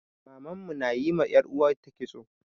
Maman mu na yi ma 'yar uwata kitso.